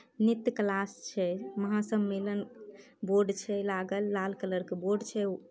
नृत्य क्लास छे महासम्मेलन बोर्ड छे लागल लाल कलर का बोर्ड छे।